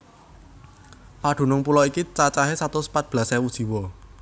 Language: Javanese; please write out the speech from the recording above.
Padunung pulo iki cacahé satus pat belas ewu jiwa